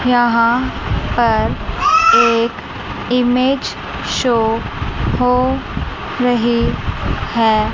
यहां पर एक इमेज शो हो रही है।